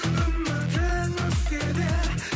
үмітің өшсе де